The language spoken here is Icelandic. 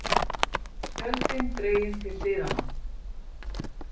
Tjöldin dregin til hliðanna.